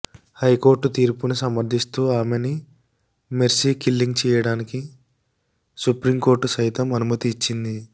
high court తీర్పుని సమర్ధిస్తూ ఆమెని మెర్సీకిల్లింగ్ చేయడానికి సుప్రీంకోర్టు సైతం అనుమతి ఇచ్చింది